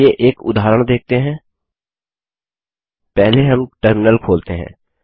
चलिए एक उदाहरण देखते हैं पहले हम टर्मिनल खोलते हैं